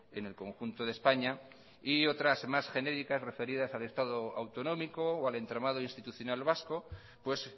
en el conjunto de españa y otras más genéricas referidas al estado autonómico o al entramado institucional vasco pues